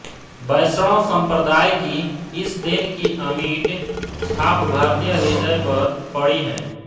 वैष्णव संप्रदाय की इस देन की अमिट छाप भारतीय हृदय पर पड़ी है